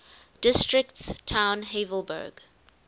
districts town havelberg